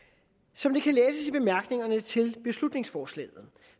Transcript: som det kan læses i bemærkningerne til beslutningsforslaget